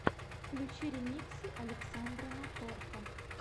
включи ремиксы александра напорко